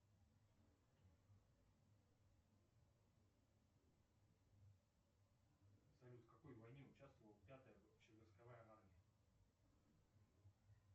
салют в какой войне участвовала пятая общевойсковая армия